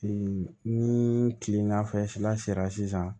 ni kilela fɛla sera sisan